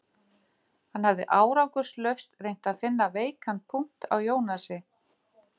Hann hafði árangurslaust reynt að finna veikan punkt á Jónasi